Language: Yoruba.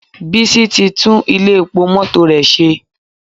Bísí ti tú Ilé epo mọ́tò rẹ̀ ṣe